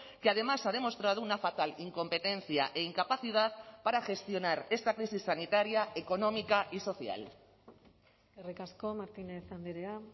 que además ha demostrado una fatal incompetencia e incapacidad para gestionar esta crisis sanitaria económica y social eskerrik asko martínez andrea